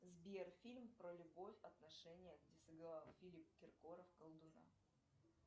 сбер фильм про любовь отношения где сыграл филипп киркоров колдуна